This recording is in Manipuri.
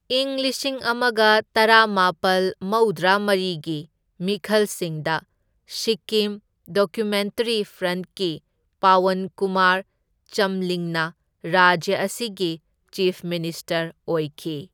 ꯏꯪ ꯂꯤꯁꯤꯡ ꯑꯃꯒ ꯇꯔꯥꯃꯥꯄꯜ ꯃꯧꯗ꯭ꯔꯥ ꯃꯔꯤꯒꯤ ꯃꯤꯈꯜꯁꯤꯡꯗ, ꯁꯤꯛꯀꯤꯝ ꯗꯦꯃꯣꯀ꯭ꯔꯦꯇꯤꯛ ꯐ꯭ꯔꯟꯠꯀꯤ ꯄꯋꯟ ꯀꯨꯃꯥꯔ ꯆꯝꯂꯤꯡꯅ ꯔꯥꯖ꯭ꯌ ꯑꯁꯤꯒꯤ ꯆꯤꯐ ꯃꯤꯅꯤꯁꯇꯔ ꯑꯣꯏꯈꯤ꯫